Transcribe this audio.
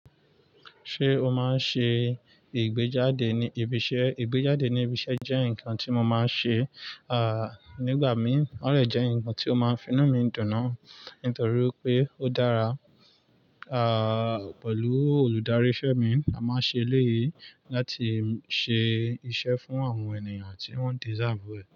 Ṣé o máa ń ṣe ìgbéjáde ní ibi iṣẹ́? Ìgbéjáde ní ibi iṣẹ́ jẹ́ nǹkan tí mo máa ń ṣe, à, nígbà mí, ó dẹ̀ jẹ́ ǹkan tí ó máa ń fi inú mi dùn náà nítorí pé ó dára, à, pẹ̀lú olùdarí iṣẹ́ mi a máa ń ṣe léyìí láti ṣe iṣẹ́ fún àwọn ènìyàn tí wọ́n deserve rẹ̀.